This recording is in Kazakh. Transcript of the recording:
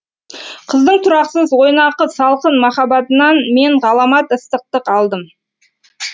қыздың тұрақсыз ойнақы салқын махаббатынан мен ғаламат ыстықтық алдым